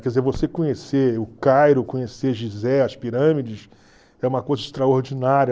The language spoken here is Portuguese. Quer dizer, você conhecer o Cairo, conhecer Gizé, as pirâmides, é uma coisa extraordinária.